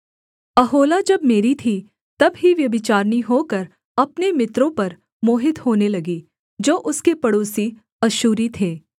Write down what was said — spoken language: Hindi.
ओहोला जब मेरी थी तब ही व्यभिचारिणी होकर अपने मित्रों पर मोहित होने लगी जो उसके पड़ोसी अश्शूरी थे